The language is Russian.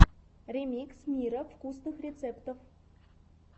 ремикс мира вкусных рецептов